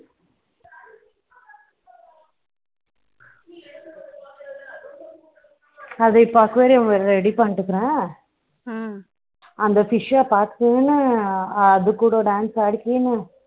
அதை இப்போ aquarium ready பண்ணிட்டு இருக்கிறேன் அந்த fish பார்த்ததுமே அது கூட dance ஆடிக்கென